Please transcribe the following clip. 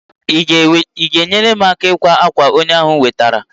i ga enyere m aka n'ikwa akwa onye ahu nwetara?